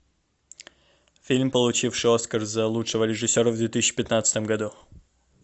фильм получивший оскар за лучшего режиссера в две тысячи пятнадцатом году